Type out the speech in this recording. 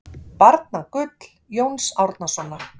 Barnagull Jóns Árnasonar